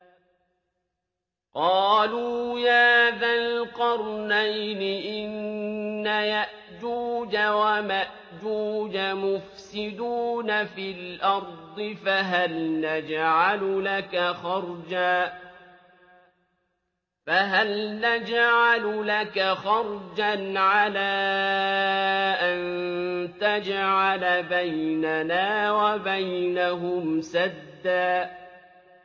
قَالُوا يَا ذَا الْقَرْنَيْنِ إِنَّ يَأْجُوجَ وَمَأْجُوجَ مُفْسِدُونَ فِي الْأَرْضِ فَهَلْ نَجْعَلُ لَكَ خَرْجًا عَلَىٰ أَن تَجْعَلَ بَيْنَنَا وَبَيْنَهُمْ سَدًّا